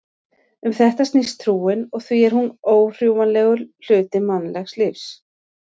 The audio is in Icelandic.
Um þetta snýst trúin og því er hún órjúfanlegur hluti mannlegs lífs.